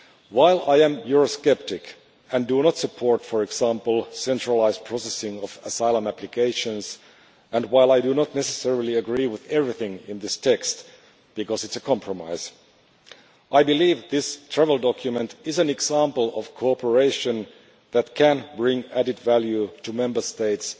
While I am Eurosceptic, and do not support, for example, the centralised processing of asylum applications, and while I do not necessarily agree with everything in this text, because it is a compromise, I believe this travel document is an example of cooperation that can bring added value to Member States,